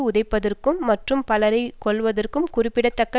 உதைப்பதற்கும் மற்றும் பலரை கொல்வதற்கும் குறிப்பிடத்தக்க